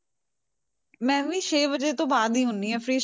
ਮੈਂ ਵੀ ਛੇ ਵਜੇ ਤੋਂ ਬਾਅਦ ਹੀ ਹੁੰਦੀ ਹਾਂ free